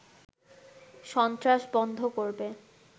সন্ত্রাস বন্ধ করবে